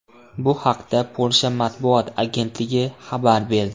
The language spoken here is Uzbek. Bu haqda Polsha matbuot agentligi xabar berdi .